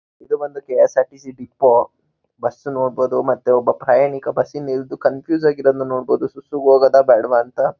ಇದು ಮಾತ್ರ KSRTC. Depot bus ನೋಡಬಹುದು ಮತ್ತು ಒಬ್ಬ ಪ್ರಯಾಣಿಕ ಬಸ್ ನಿಂತು ಕನ್ಫ್ಯೂಸ್ ಆಗಿ ಇರದ್ನ ನೋಡಬಹುದು ಸುತ್ತು ಹೋಗದ ಬೇಡ್ವಾ ಅಂತ.